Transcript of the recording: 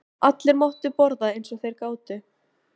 Allir máttu borða eins og þeir gátu.